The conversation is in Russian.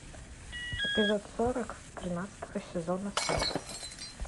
эпизод сорок тринадцатого сезона селфи